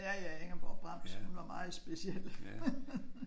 Ja ja Ingeborg Brems. Hun var meget speciel